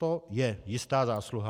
To je jistá zásluha.